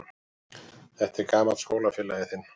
Þetta er gamall skólafélagi þinn.